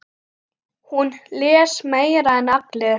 Hún les meira en allir.